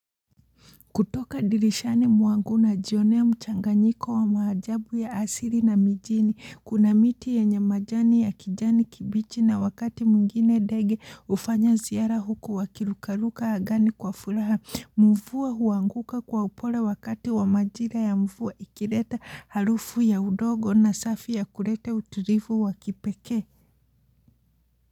Kutoka dirishani mwangu najionea mchanganyiko wa maajabu ya asili na mijini, kuna miti yenye majani ya kijani kibichi na wakati mwingine ndege hufanya ziara huku wakirukaruka angani kwa furaha, mvua huanguka kwa upole wakati wa majira ya mvua ikileta harufu ya udongo na safi ya kulete utulivu wa kipekee.